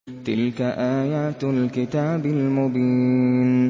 تِلْكَ آيَاتُ الْكِتَابِ الْمُبِينِ